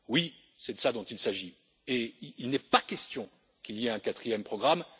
Oui, c'est de cela dont il s'agit et il n'est pas question qu'il y ait un quatrième programme.